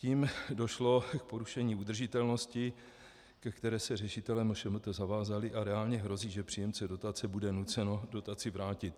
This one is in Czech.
Tím došlo k porušení udržitelnosti, ke které se řešitelé MŠMT zavázali, a reálně hrozí, že příjemce dotace bude nucen dotaci vrátit.